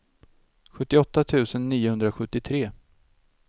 sjuttioåtta tusen niohundrasjuttiotre